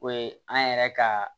O ye an yɛrɛ ka